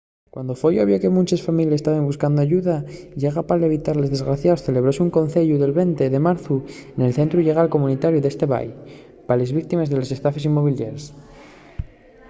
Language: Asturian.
cuando foi obvio que munches families taben buscando ayuda llegal pa evitar los desagospios celebróse un conceyu'l 20 de marzu nel centru llegal comunitariu d'esat bay pa les víctimes de les estafes inmobiliaries